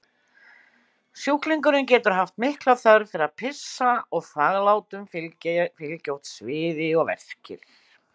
Sjúklingurinn getur haft mikla þörf fyrir að pissa og þvaglátum fylgja oft sviði og verkir.